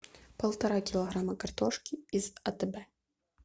полтора килограмма картошки из атб